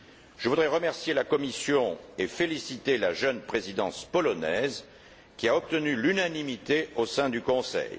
Je voudrais remercier la Commission et féliciter la jeune Présidence polonaise qui a obtenu l'unanimité au sein du Conseil.